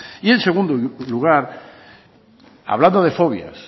y en segundo lugar hablando de fobias